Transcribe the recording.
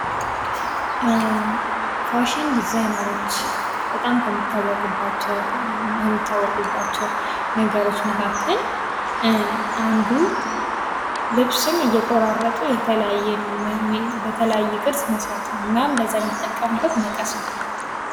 ፋሽን ዲዛይነሮች በጣም ከሚታወቁባቸው ነገሮች መካከል አንዱ ልብስን እየቆራረጡ በተለያየ ቅርጽ መስራት ነው። እናም ለዛ የሚጠቀሙበት መቀስ ነው።